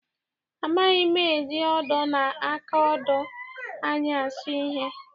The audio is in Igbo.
Amaghị m eji odo na aka odo anyị asụ ihe.